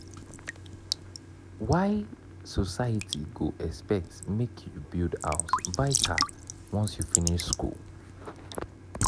why society go expect make you build house buy car once you finish school?